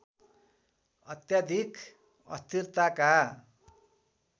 अत्याधिक अस्थिरताका